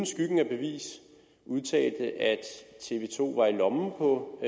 skyggen af bevis udtalte at tv to var i lommen på